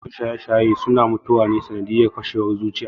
Yawancin masu shaye-shaye suna mutuwa ne sanadiyar fashewar zuciya